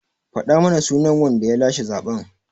Faɗa mana sunan wanda ya lashe zaɓen!